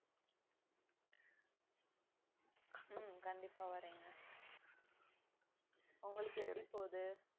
ஹம் கண்டிப்பா வரேங்க உங்களுக்கு எப்படி போகுது